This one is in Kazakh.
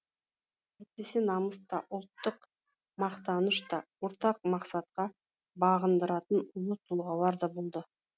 әйтпесе намыс та ұлттық мақтаныш та ортақ мақсатқа бағындыратын ұлы тұлғалар да болды